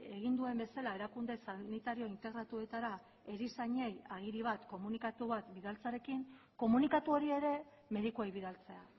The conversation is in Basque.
egin duen bezala erakunde sanitario integratuetara erizainei agiri bat komunikatu bat bidaltzearekin komunikatu hori ere medikuei bidaltzea